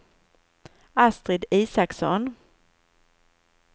Astrid Isaksson